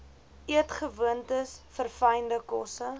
eetgewoontes verfynde kosse